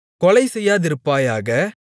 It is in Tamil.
கொலை செய்யாதிருப்பாயாக